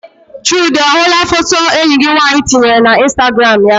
Chude ọ hụla foto enyi gị nwaanyị tinyere na instagram ya?